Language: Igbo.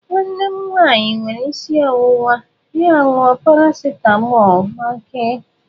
Nwanne m nwanyị were isi ọwụwa ya ṅụọ paracetamọ gbakee.